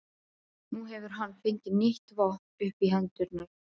Nú hefur hann fengið nýtt vopn upp í hendurnar.